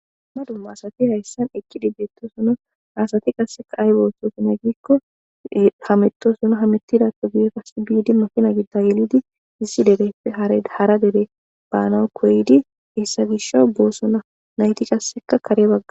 Duma duma asati haysan equdi deetes ha asati wase ayba othizona giiko hamutosona hamutidape guye baga qase bidi makina gido gelidi issi derepe hara dere banaw koyidi hesa gishaw bosona naytika kare baga